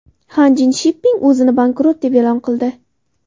Hanjin Shipping o‘zini bankrot deb e’lon qildi.